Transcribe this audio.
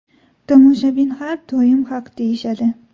Tomoshabin har doim haq deyishadi.